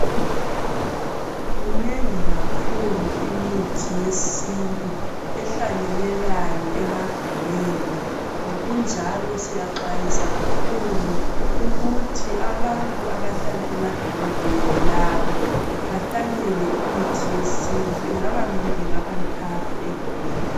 Minengi kathesi imithi yesintu ehlanyelekayo emagumeni, ngokunjalo siyaxwayisa kakhulu ukuthi abantu abahlala emadolobheni labo behlanyele imithi yesintu, ingaba mibili , ingaba mithathu egumeni.